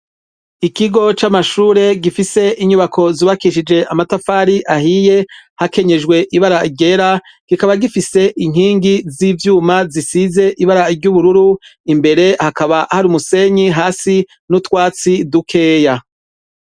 Ikigo c'amashure gifise inyubako zubakishije amatafari ahiye hakenyejwe ibara ryera, kikaba gifise inkingi z'ivyuma zisize ibara ry'ubururu, imbere hakaba hari umusenyi hasi n'utwatsi dukeya.